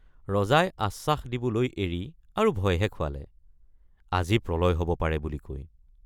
ৰজাই আশ্বাস দিবলৈ এৰি আৰু ভয়হে খুৱালে আজি প্ৰলয় হব পাৰে বুলি কৈ।